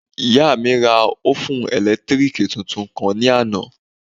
Ìyá mi ra òfún ẹ̀lẹ́tírìkì tuntun kan ní àná